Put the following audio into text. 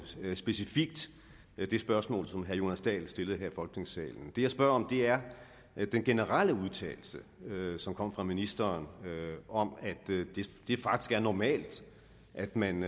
specifikt det spørgsmål som herre jonas dahl stillede her i folketingssalen det jeg spørger om er den generelle udtalelse som kom fra ministeren om at det faktisk er normalt at man